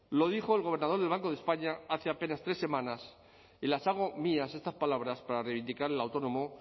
lo dijo el gobernador del banco de españa hace apenas tres semanas y las hago mías estas palabras para reivindicar el autónomo